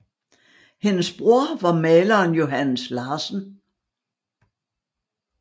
Hendes bror var maleren Johannes Larsen